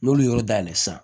N'olu y'o dayɛlɛ sisan